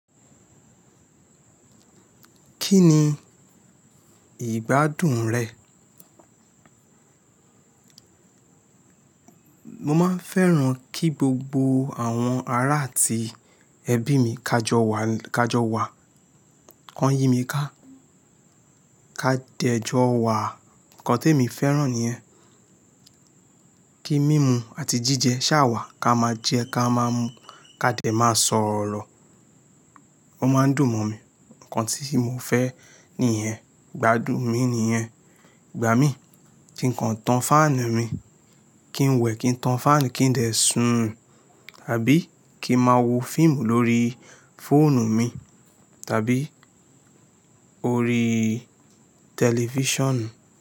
Kí ni ìgbádùn rẹ̀? Mo máa ń fẹ́ran kí gbogbo àwọn ará ati ẹbí mi kà jọ wà, kà jọ wà, ki won yí mi ká, kà dẹ̀ jọ wà. Ǹkan tí emi fẹ́ran ni yẹn. Kí mímu àti jíjẹ ṣàa wà ká máa jẹ ká máa mú ká dẹ̀ máa sọ̀rọ̀. Wọn máa ń dùn mọ́ mi. Ǹkan tí mo fẹ́ níyẹn, ìgbádùn mi nìyẹn. Ìgbà mí kí ǹ kan tán fáànù mi, kí n wẹ̀ kí n tán fáànù kí n dẹ̀ sùn àbí kí n máa wo fíìmù lórí fóònù mi tàbí orí tẹlifíṣàn.